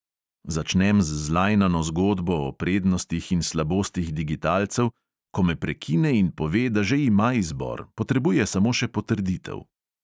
Začnem z zlajnano zgodbo o prednostih in slabostih digitalcev, ko me prekine in pove, da že ima izbor, potrebuje samo še potrditev.